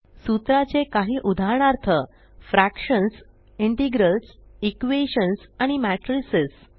सूत्राचे काही उदाहरणार्थ fractions integrals equations आणि मॅट्रिसेस